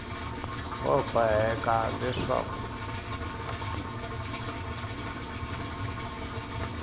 va boheka ku vona leswaku